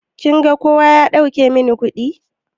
Kin ga kowa ya dauke min kuɗi?